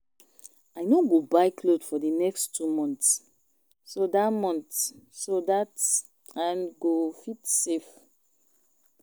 I no go buy cloth for the next two months so dat months so dat I go fit save